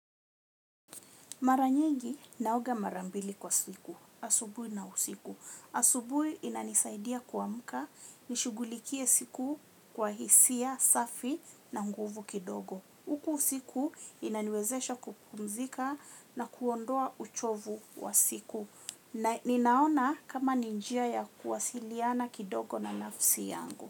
Mara nyingi naoga mara mbili kwa siku. Asubui na usiku. Asubui inanisaidia kuamka nishugulikie siku kwa hisia, safi na nguvu kidogo. Uku usiku inaniwezesha kupumzika na kuondoa uchovu wa siku. Ninaona kama ni njia ya kuwasiliana kidogo na nafsi yangu.